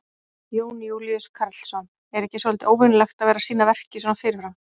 Jón Júlíus Karlsson: Er ekki svolítið óvenjulegt að vera að sýna verkið svona fyrirfram?